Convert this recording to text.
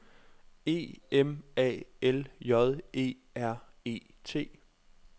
E M A L J E R E T